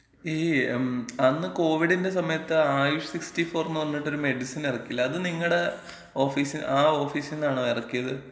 ഈ, മ്, അന്ന് കോവിഡിന്‍റെ സമയത്ത് ആയുഷ് 64-ന്ന് പറഞ്ഞിട്ടൊരു മെഡിസിൻ എറക്കില്ലേ? അത് നിങ്ങടെ ഓഫീസി, ആ ഓഫീസിന്നാണോ എറക്ക്യേത്?